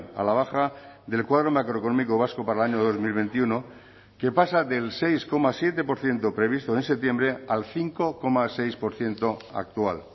a la baja del cuadro macroeconómico vasco para el año dos mil veintiuno que pasa del seis coma siete por ciento previsto en septiembre al cinco coma seis por ciento actual